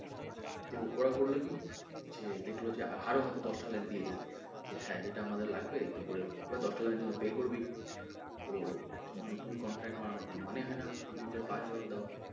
তো ওরা করল কি দেখলো যে আরও হয়তো দশ টা line দিয়ে দিলো যে হ্যাঁ এটা আমাদের লাগবে এটা করে দাও এবার দশ টা line এর জন্য pay করবেই তো তখন নতুন contract বানানোর কোনো মানে হয়না প্রথম করে আবার পাঁচ dollar দেওয়ার।